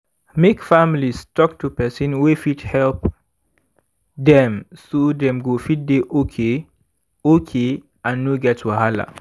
make families talk to person wey fit help dem so dem go fit dey okay okay and no get wahala.